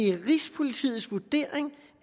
er rigspolitiets vurdering